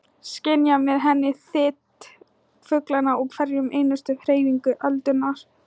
Skynja með henni þyt fuglanna og hverja einustu hreyfingu öldunnar.